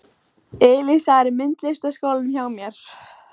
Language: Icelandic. Elísa er í myndlistaskólanum hjá mér.